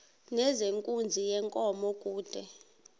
nezenkunzi yenkomo kude